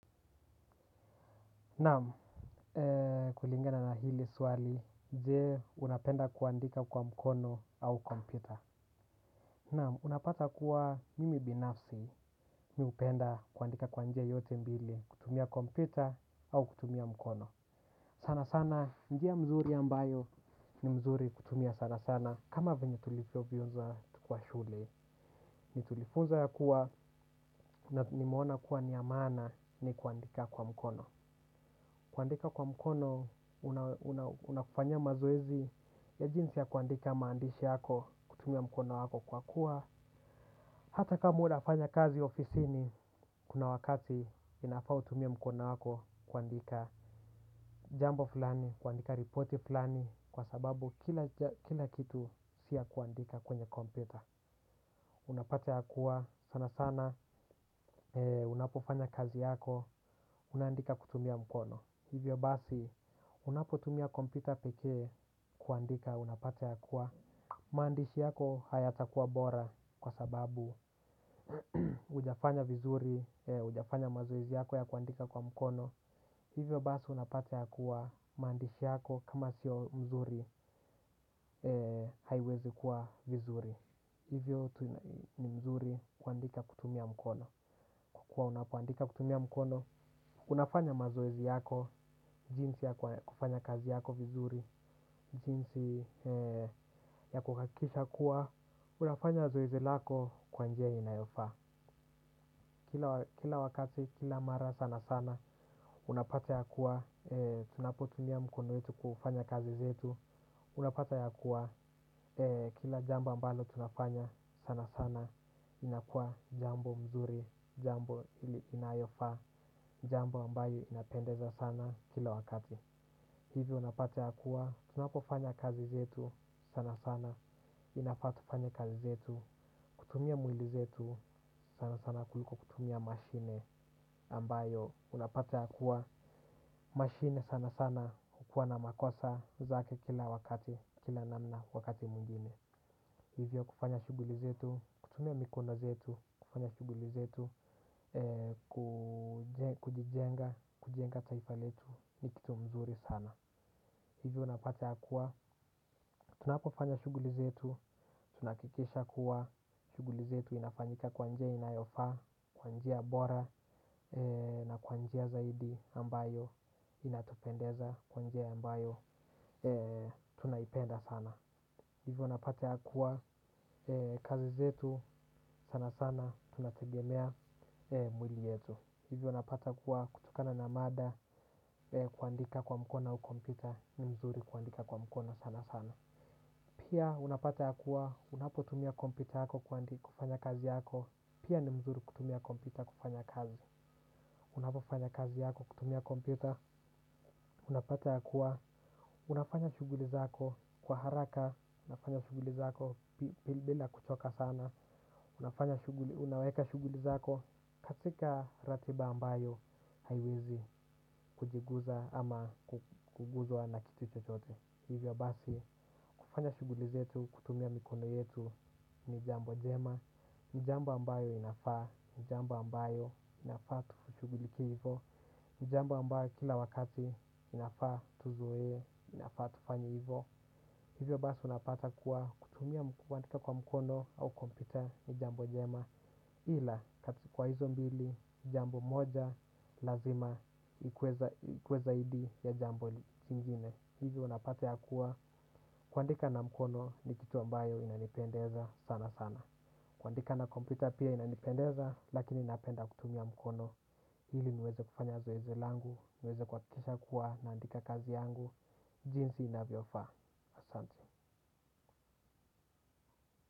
Naam, kulingana na hili swali, je, unapenda kuandika kwa mkono au kompyuta. Naam, unapata kuwa mimi binafsi, mi hupenda kuandika kwa njia yote mbili, kutumia kompyuta au kutumia mkono. Sana sana, njia mzuri ambayo ni mzuri kutumia sana sana kama venye tulivyofunza kwa shule, ni tulifunzwa ya kuwa na nimeona kuwa ni ya maana ni kuandika kwa mkono. Kuandika kwa mkono, unakufanyia mazoezi ya jinsi ya kuandika maandishi yako kutumia mkono wako kwa kuwa hata kama unafanya kazi ofisini, kuna wakati inafaa utumie mkono wako kuandika jambo fulani, kuandika ripoti fulani, kwa sababu kila kitu si ya kuandika kwenye kompyuta. Unapate ya kuwa sana sana, unapofanya kazi yako, unaandika kutumia mkono. Hivyo basi unapotumia kompyuta pekee kuandika unapata ya kuwa maandishi yako hayatakuwa bora kwa sababu hujafanya vizuri, hujafanya mazoezi yako ya kuandika kwa mkono. Hivyo basi unapata ya kuwa maandishi yako kama sio mzuri haiwezi kuwa vizuri. Hivyo ni mzuri kuandika kutumia mkono. Kwa kuwa unapoandika kutumia mkono, unafanya mazoezi yako, jinsi ya kufanya kazi yako vizuri, jinsi ya kuhakikisha kuwa, unafanya zoezi lako kwa njia inayofaa. Kila wakati, kila mara sana sana, unapata ya kuwa, tunapotumia mkono wetu kufanya kazi zetu, unapata ya kuwa, kila jambo ambalo tunafanya sana sana, inakuwa jambo mzuri, jambo ili inayofaa, jambo ambayo inapendeza sana kila wakati. Hivyo unapata ya kuwa, tunapofanya kazi zetu sana sana, inafaa tufanye kazi zetu, kutumia mwili zetu sana sana kuliko kutumia mashine ambayo unapata ya kuwa mashine sana sana hukuwa na makosa zake kila wakati, kila namna wakati mwingine. Hivyo kufanya shughuli zetu, kutumia mikono zetu, kufanya shughuli zetu, kujijenga, kujenga taifa letu ni kitu mzuri sana. Hivyo unapata ya kuwa, tunapofanya shughuli zetu, tunahakikisha kuwa, shughuli zetu inafanyika kwa njia inayofaa, kwa njia bora na kwa njia zaidi ambayo inatupendeza, kwa njia ambayo tunaipenda sana. Hivyo unapata ya kuwa kazi zetu sana sana tunategemea mwili yetu. Hivyo unapata kuwa kutokana na mada kuandika kwa mkono au kompyuta ni mzuri kuandika kwa mkono sana sana. Pia, unapata ya kuwa, unapotumia kompyuta yako kuandi kufanya kazi yako, pia ni mzuri kutumia kompyuta kufanya kazi. Unapofanya kazi yako, kutumia kompyuta, unapata ya kuwa, unafanya shughuli zako, kwa haraka, unafanya shughuli zako, bila kuchoka sana, unafanya shughuli, unaweka shughuli zako, katika ratiba ambayo, haiwezi kujiguza ama kuguzwa na kitu chochote. Hivyo basi, kufanya shughuli zetu, kutumia mikono yetu ni jambo jema, ni jambo ambayo inafaa, ni jambo ambayo inafaa tushughulikie hivo, ni jambo ambayo kila wakati inafaa tuzoee, inafaa tufanye hivo. Hivyo basi, unapata kuwa kutumia kuandika kwa mkono au kompyuta ni jambo jema. Ila, kati kwa hizo mbili, jambo moja, lazima, ikuwe zaidi ya jambo jingine. Hivi unapata ya kuwa kuandika na mkono ni kitu ambayo inanipendeza sana sana. Kuandika na kompyuta pia inanipendeza lakini napenda kutumia mkono. Ili niweze kufanya zoezi langu, niweze kuhakikisha kuwa naandika kazi yangu. Jinsi inavyofaa, asante.